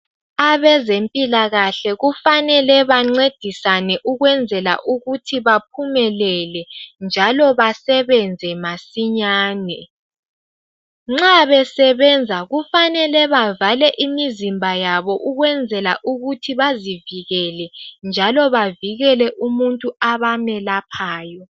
Abezempilakahle kufanele bancedisane ukwenzela ukuthi baphumelele njalo besebenze masinyane nxa besebenza kufanele bevale imizimba yabo ukwenzela ukuthi bazivikele njalo bavikele umuntu abamelaphayo.